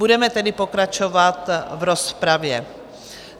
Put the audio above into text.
Budeme tedy pokračovat v rozpravě.